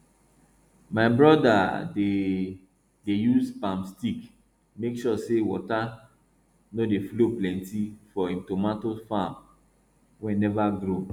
my broda dey dey use palm stick make sure say water no dey flow plenty for him tomato farm wey neva grow